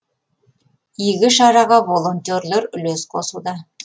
игі шараға волонтерлер үлес қосуда